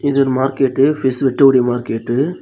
இது ஒரு market fish வெட்டக்கூடிய மார்க்கெட்டு .